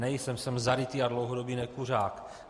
Nejsem, jsem zarytý a dlouhodobý nekuřák.